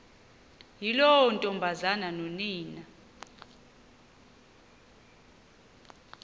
yiloo ntombazana nonina